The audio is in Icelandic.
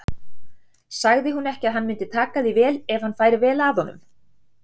Sagði hún ekki að hann mundi taka því vel ef hann færi vel að honum?